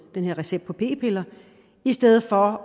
den her recept på p piller i stedet for